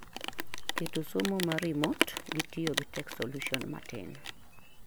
Keto somo ma remote gi tiyo gi Tech solution matin